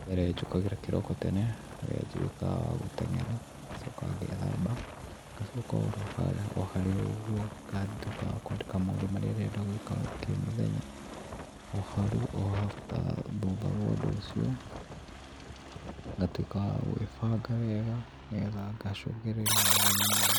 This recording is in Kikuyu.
Wa mbere njũkagĩra kĩroko tene harĩa nduĩkaga wa gũteng'era ngacoka ngethamba, ngacoka o harĩ o ũguo ngatuĩka wa kwandĩka maũndũ marĩa ndĩrenda gwĩka o kĩmũthenya, o hau, after thutha wa ũndũ ũcio ngatuĩka wa gwĩbanga wega nĩgetha ngacũngĩrĩria mũthenya mwega.